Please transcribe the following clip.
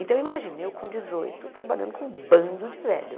Então, imagine, eu com dezoito, trabalhando com um bando de velho.